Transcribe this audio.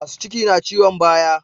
Masu ciki na ciyon baya